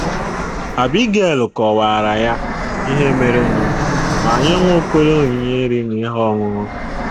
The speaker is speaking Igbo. Abigail kọwaara ya ihe merenụ ma nye Nwaokolo onyinye nri na ihe ọṅụṅụ.